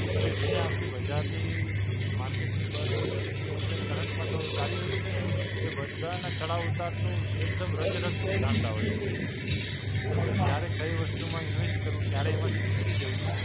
કે જેને આખી બજારની market ની બધી જ અ અત્યારે current માં તો ચાલી રહ્યું છે ને, એ બધાંનાં ચડાવ ઉતારનું એકદમ રગેરગ જાણતા હોય છે. એટલે ક્યારે કઈ વસ્તુમાં invest કરવું? ક્યારે એમાંથી નીકળી જવું?